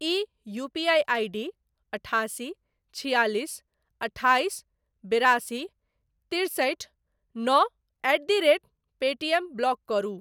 ई UPI ID अठासी छिआलिस अठाइस बेरासी तिरसठि नओ at the rate Paytm block करू।